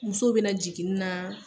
Musow be na jigini naa